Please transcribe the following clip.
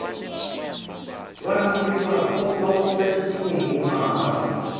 vhalanguli vhapo vha vhulunga tshitumbu mahala